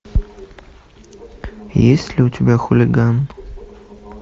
есть ли у тебя хулиган